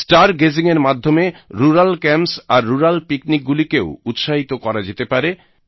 star gazing এর মাধ্যমে rural camps আর রুরাল পিকনিক গুলিকেও উৎসাহিত করা যেতে পারে